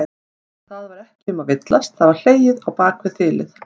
Það var ekki um að villast, það var hlegið á bak við þilið!